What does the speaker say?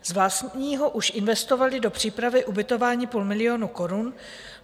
Z vlastního už investovali do přípravy ubytování půl milionu korun.